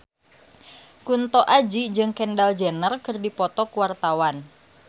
Kunto Aji jeung Kendall Jenner keur dipoto ku wartawan